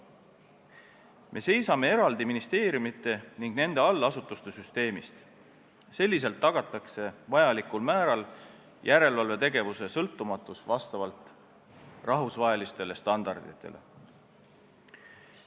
Me seisame eraldi ministeeriumide ning nende allasutuste süsteemist, selliselt tagatakse vajalikul määral järelevalvetegevuse sõltumatus vastavalt rahvusvahelistele standarditele.